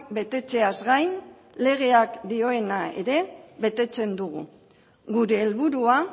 betetzeaz gain legeak dioena ere betetzen dugu gure helburua